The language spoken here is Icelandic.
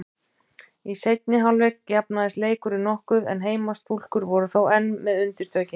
Í seinni hálfleik jafnaðist leikurinn nokkuð en heimastúlkur voru þó enn með undirtökin.